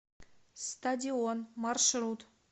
стадион маршрут